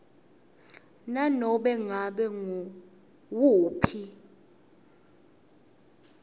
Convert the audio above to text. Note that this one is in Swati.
nanobe ngabe nguwuphi